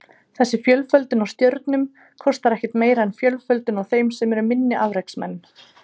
Þessi fjölföldun á stjörnum kostar ekkert meira en fjölföldun á þeim sem eru minni afreksmenn.